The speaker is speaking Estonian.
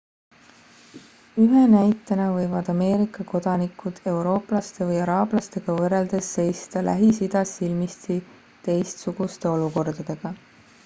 ühe näitena võivad ameerika kodanikud eurooplaste või araablastega võrreldes seista lähis-idas silmitsi teistsuguste olukordadega